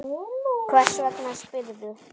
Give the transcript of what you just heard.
Hvers vegna spyrðu?